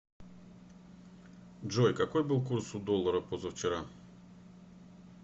джой какой был курс у доллара позавчера